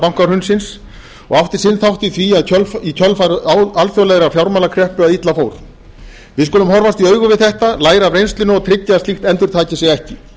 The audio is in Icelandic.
bankahrunsins og átti sinn þátt í því í kjölfar alþjóðlegrar fjármálakreppu að illa fór við skulum horfast í augu við þetta læra af reynslunni og tryggja að slíkt endurtaki sig ekki